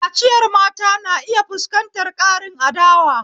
Kaciyar mata na iya fuskantar ƙarin adawa.